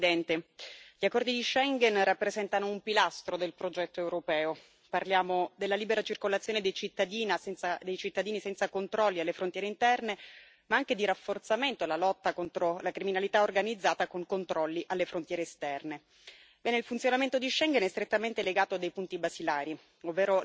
Parliamo della libera circolazione dei cittadini senza controlli alle frontiere interne, ma anche di rafforzamento alla lotta contro la criminalità organizzata, con controlli alle frontiere esterne. Bene, il funzionamento di Schengen è strettamente legato a dei punti basilari, ovvero la fiducia reciproca tra gli Stati membri, la cooperazione, lo scambio di informazioni,